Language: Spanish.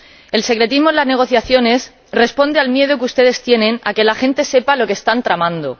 El secretismo en las negociaciones responde al miedo que ustedes tienen a que la gente sepa lo que están tramando.